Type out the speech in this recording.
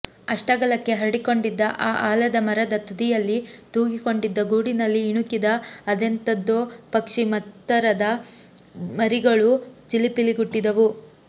ಅಷ್ಟಗಲಕ್ಕೆ ಹರಡಿಕೊಂಡಿದ್ದ ಆ ಆಲದ ಮರದ ತುದಿಯಲ್ಲಿ ತೂಗಿಕೊಂಡಿದ್ದ ಗೂಡಿನಲ್ಲಿ ಇಣುಕಿದ ಅದೆಂತದೋ ಪಕ್ಷಿ ಮತ್ತದರ ಮರಿಗಳು ಚಿಲಿಪಿಲಿಗುಟ್ಟಿದವು